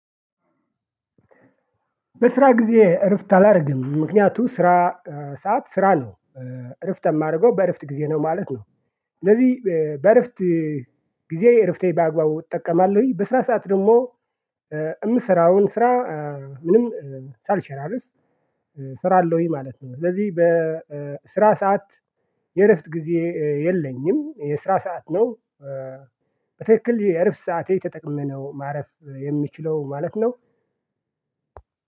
በስራ ጊዜ እረፍት አላደርግም ምክንያቱም ስራ ሰዓት ስራ ነው እረፍት የማደርገው በእረፍት ጊዜ ነው ማለት ነው። እነዚህ በእረፍት ጊዜ እረፍቴ በአግባቡ እጠቀማለሁኝ። በስራ ሰዓት ደግሞ የምስራውን ስራ ምንም ሻልሸራርፍ ሰራለውኝ ማለት ነው። ስለዚህ በስራ ሰዓት የእረፍት ጊዜ የለኝም የስራ ሰዓት ነው። በትክክል የእረፍት ሰዓቴ ተጠቅሜ ነው ማረፍ የምችለው ማለት ነው።